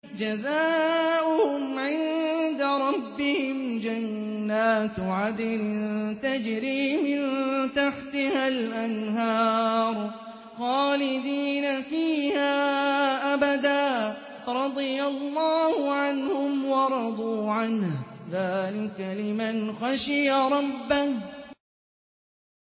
جَزَاؤُهُمْ عِندَ رَبِّهِمْ جَنَّاتُ عَدْنٍ تَجْرِي مِن تَحْتِهَا الْأَنْهَارُ خَالِدِينَ فِيهَا أَبَدًا ۖ رَّضِيَ اللَّهُ عَنْهُمْ وَرَضُوا عَنْهُ ۚ ذَٰلِكَ لِمَنْ خَشِيَ رَبَّهُ